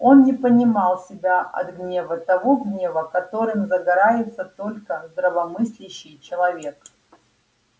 он не понимал себя от гнева того гнева которым загорается только здравомыслящий человек